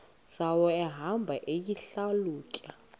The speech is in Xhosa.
zawo ehamba eyihlalutya